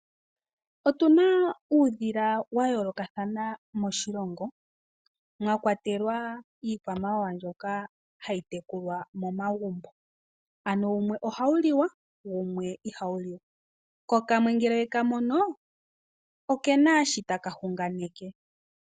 Otu na uudhila wa yoolokathana moshilongo mwa kwatelwa iikwamawawa mbyoka hayi tekulwa momaguumbo ano wumwe oha wu liwa wumwe iha wu liwa ko kamwe uuna we ka mono oke na shi taka hunganeke.